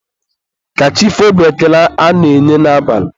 ka chi foo bụ ekele a na-enye n'abalị.